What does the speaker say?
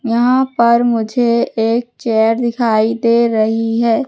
यहां पर मुझे एक चेयर दिखाई दे रही है।